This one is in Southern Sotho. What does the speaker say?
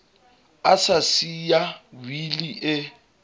a sa siya wili e